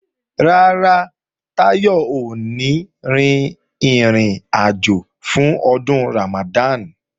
Rárá, Táyọ̀ ò ní rin ìrìnàjò fún Ọdún Ramadan